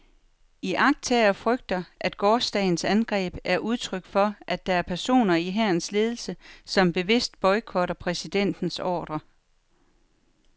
Iagttagere frygter, at gårsdagens angreb er udtryk for, at der er personer i hærens ledelse, som bevidst boykotter præsidentens ordrer.